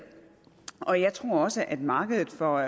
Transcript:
og jeg tror også at markedet for